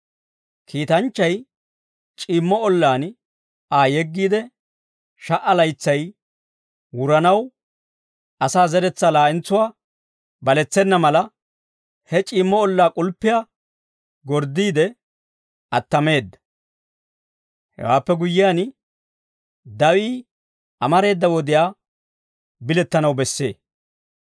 Kiitanchchay c'iimmo ollaan Aa yeggiide, sha"a laytsay wuranaw, asaa zeretsaa laa'entsuwaa balettena mala, he c'iimmo ollaa k'ulppi gorddiide attameedda. Hewaappe guyyiyaan, dawii amareeda wodiyaa bilettanaw bessee.